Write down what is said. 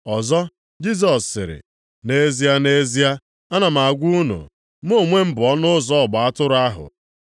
Ọzọ, Jisọs sịrị, “Nʼezie, nʼezie, ana m agwa unu, mụ onwe m bụ ọnụ ụzọ ọgba atụrụ ahụ.